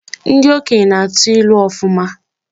Ndị okenye na-atụ ilu ọfụma.